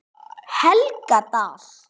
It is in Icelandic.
Helgadal